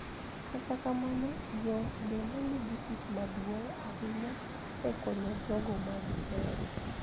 Kata kamano, joot bende nigi tich maduong� ahinya e konyo jogo ma gihero .